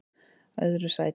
öðru sæti